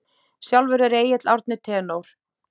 Sjálfur er Egill Árni tenór.